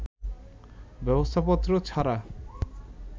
ব্যবস্থাপত্র ছাড়া